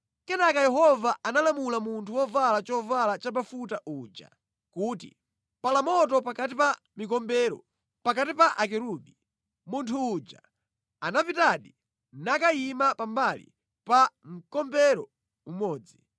Kenaka Yehova analamula munthu wovala chovala chabafuta uja kuti, “Pala moto pakati pa mikombero, pakati pa akerubi.” Munthu uja anapitadi nakayima pa mbali pa mkombero umodzi.